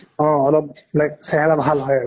অহ অলপ like চেহেৰা ভাল হয় আৰু